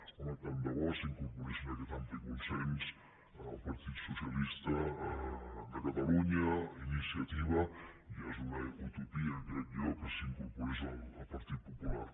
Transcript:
home tant de bo s’incorporessin a aquest ampli consens el partit socialista de catalunya iniciativa i ja és una utopia crec jo que s’hi incorporés el partit popular